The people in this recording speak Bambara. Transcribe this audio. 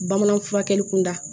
Bamanan furakɛli kun da